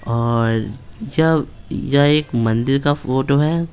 और यह यह एक मंदिर का फोटो है।